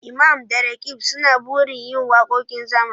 Imam da Roqeeb suna burin yin wakokin zamani